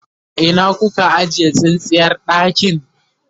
a Ina kuka ajiye tsintsiyar ɗakin?